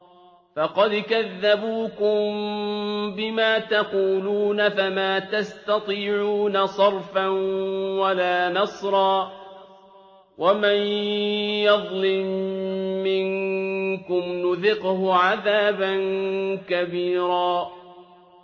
فَقَدْ كَذَّبُوكُم بِمَا تَقُولُونَ فَمَا تَسْتَطِيعُونَ صَرْفًا وَلَا نَصْرًا ۚ وَمَن يَظْلِم مِّنكُمْ نُذِقْهُ عَذَابًا كَبِيرًا